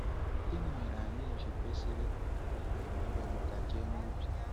Gịnị mere anyị ji kwesịrị were ndụmọdụ Emeka kee n’obi?